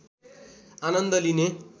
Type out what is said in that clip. आनन्‍द लिने